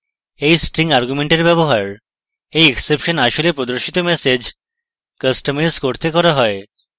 এই string argument এর ব্যবহার এই exception আসলে প্রদর্শিত ম্যাসেজ কাস্টমাইজ করতে করা যায়